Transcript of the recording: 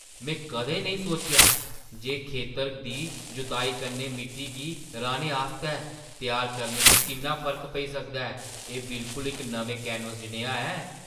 में कदें नेईं सोचेआ जे खेतरै दी जुताई कन्नै मिट्टी गी राह्‌ने आस्तै त्यार करने च किन्ना फर्क पेई सकदा ऐ। एह् बिलकुल इक नमें कैनवस जनेहा ऐ!